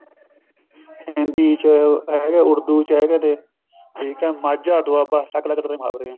ਹਿੰਦੀ ਚ ਹੈਗੇ ਨੇ ਉੱੜਦੂ ਚ ਹੈਗੇ ਤੇ ਠੀਕ ਹੈ ਮਾਝਾ ਦੁਆਬਾ ਅਲੱਗ ਅਲੱਗ ਤਰ੍ਹਾਂ ਦੇ ਮੁਹਾਵਰੇ ਹੈ